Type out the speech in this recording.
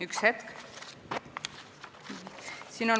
Üks hetk!